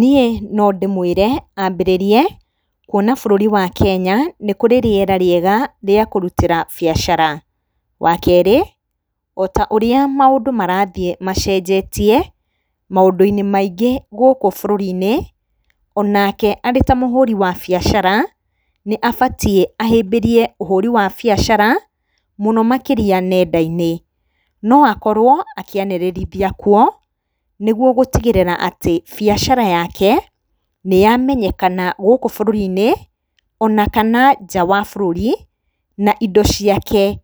Niĩ nondĩmwĩre ambĩrĩrie kuona bũrũri wa Kenya nĩ kũrĩ rĩera rĩega rĩa kũrutĩra biacara. Wakere otaũrĩa maũndũ marathiĩ macenjetie maũndũ -inĩ Maingĩ gũkũ bũrũri -inĩ onake arĩ ta mũhũri wa biacara nĩ abatie ahĩmbĩrie ũhũri wa biacara mũno makĩria nenda -inĩ no akorwo akĩanĩririthia kwo nĩ guo gũtigĩrĩra atĩ biacara yake nĩyamenyekana gũkũ bũrũri -inĩ ona kana nja wa bũrũri na indo ciake